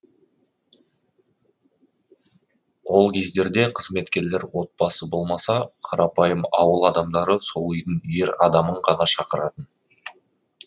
ол кездерде қызметкерлер отбасы болмаса қарапайым ауыл адамдары сол үйдің ер адамын ғана шақыратын